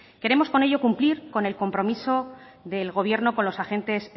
queremos con ello cumplir con el compromiso del gobierno con los agentes